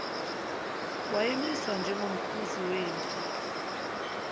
wayemiswa njengomkhuzi wempi